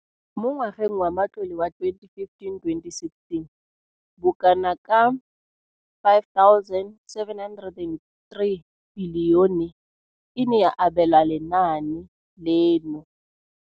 Mo ngwageng wa matlole wa 2015,16, bokanaka R5 703 bilione e ne ya abelwa lenaane leno.